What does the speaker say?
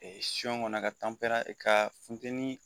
kɔnɔ ka ka funteni